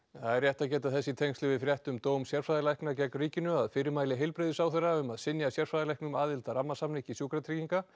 það er rétt að geta þess í tengslum við frétt um dóm sérfræðilækna gegn ríkinu að fyrirmæli heilbrigðisráðherra um að synja sérfræðilæknum aðild að rammasamningi Sjúkratrygginga